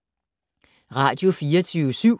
Radio24syv